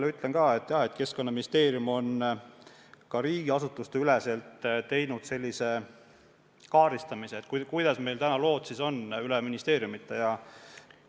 Ja ütlen veel nii palju, et Keskkonnaministeerium on riigiasutuste üleselt teinud kaardistamise, kuidas meil ministeeriumides lood on.